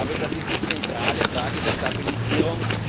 Ich glaube, das ist die zentrale Frage der Stabilisierung.